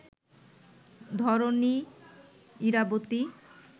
Dharani, Irabati